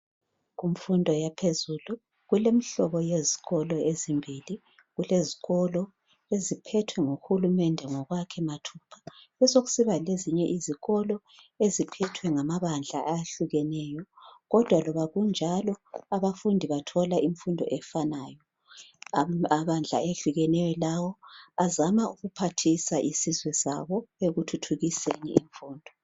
Imfundo yaphezulu kulemihlobo yezikolo ezimbili . Kulezikolo eziphethwe nguhulumende ngokwakhe mathupha kube sekusiba lezinye izikolo eziphethethwe ngamabandla ayehlukeneyo kodwa loba kunjalo abafundi bathole imfundo efanayo. Amabandla ehlukeneyo lawo azama ukuphathisa isizwe sabo ekuthuthukiseni imfundo.